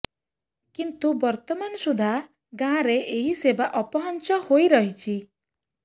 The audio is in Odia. କିନ୍ତୁ ବର୍ତମାନ ସୁଦ୍ଧା ଗାଁରେ ଏହି ସେବା ଅପହଞ୍ଚ ହୋଇ ରହିଛି